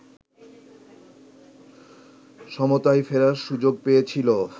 সমতায় ফেরার সুযোগ পেয়েছিল